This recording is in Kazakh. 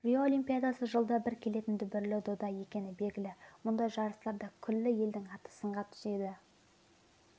рио олимпиадасы жылда бір келетін дүбірлі дода екені белгілі мұндай жарыстарда күллі елдің аты сынға түседі